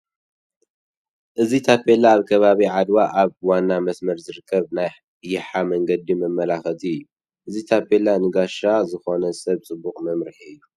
እዚ ታፔላ ኣብ ከባቢ ዓድዋ ኣብ ዋና መስመር ዝርከብ ናይ ይሓ መንገዲ መመላኸቲ እዩ፡፡ እዚ ታፔላ ንጋሻ ዝኾነ ሰብ ፅቡቕ መምርሒ እዩ፡፡